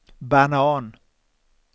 banan